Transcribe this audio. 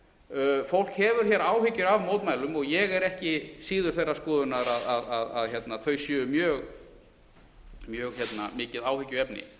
gert fólk hefur hér áhyggjur af mótmælum og ég er ekki síður þeirrar skoðunar að þau séu mjög mikið áhyggjuefni